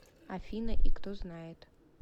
афина и кто знает